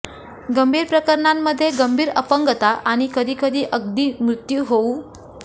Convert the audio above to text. गंभीर प्रकरणांमध्ये गंभीर अपंगता आणि कधी कधी अगदी मृत्यू होऊ